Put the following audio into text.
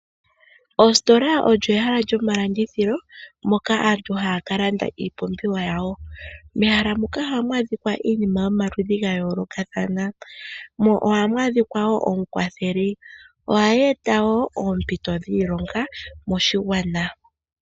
Ositola olyo ehala lyomalandithilo moka aantu haya ka landa iipumbiwa yawo. Mehala muka ohamu adhika iinima yomaludhi ga yoolokathana, mo ohamu adhika woo omukwatheli. Ohaga eta woo oompito dhiilonga moshigwana.